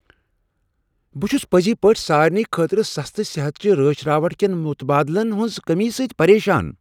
بہٕ چھس پٔزۍ پٲٹھۍ سارنٕے خٲطرٕ سستہٕ صحت چہ رٲچھ راوٹھٕ کین متبادلن ہنٛز کمی سۭتۍ پریشان۔